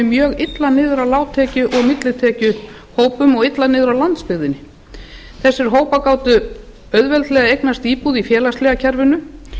mjög illa niður á lágtekju og millitekjuhópum og illa niður á landsbyggðinni þessir hópar gátu auðveldlega eignast íbúð í félagslega kerfinu þar